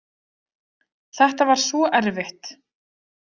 Þetta var svo erfitt.